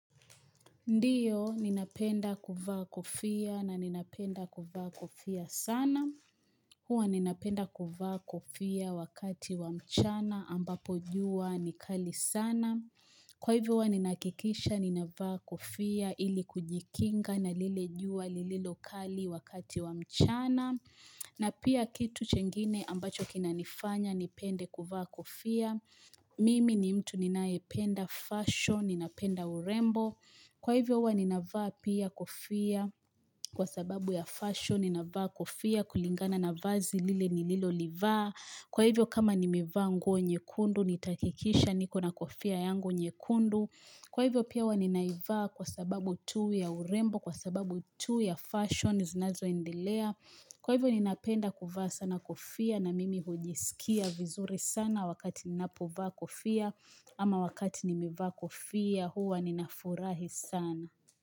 Ndiyo, ninapenda kuvaa kofia na ninapenda kuvaa kofia sana. Huwa ninapenda kuvaa kofia wakati wa mchana ambapo jua ni kali sana. Kwa hivyo huwa ninahakikisha ninavaa kofia ili kujikinga na lile jua lililo kali wakati wa mchana. Na pia kitu chengine ambacho kinanifanya nipende kuvaa kofia. Mimi ni mtu ninayependa fashion, ninapenda urembo. Kwa hivyo huwa ninavaa pia kofia kwa sababu ya fashion, ninavaa kofia kulingana na vazi lile nililolivaa. Kwa hivyo kama nimevaa nguo nyekundu nitahakikisha niko na kofia yangu nyekundu. Kwa hivyo pia hua nininaivaa kwa sababu tu ya urembo, kwa sababu tu ya fashion zinazoendelea. Kwa hivyo ninapenda kuvaa sana kofia na mimi hujisikia vizuri sana wakati ninapovaa kofia. Ama wakati nimevaa kofia huwa ninafurahi sana.